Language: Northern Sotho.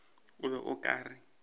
o be o ka re